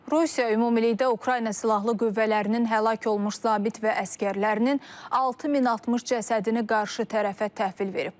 Rusiya ümumilikdə Ukrayna silahlı qüvvələrinin həlak olmuş zabit və əsgərlərinin 6060 cəsədini qarşı tərəfə təhvil verib.